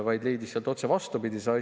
Ta leidis sealt otse vastupidise asja.